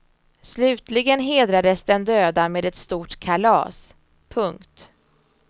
Slutligen hedrades den döda med ett stort kalas. punkt